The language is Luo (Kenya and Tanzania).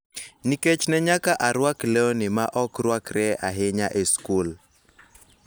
Nikech ne nyaka arwak lewni ma ok rwakre ahinya e skul.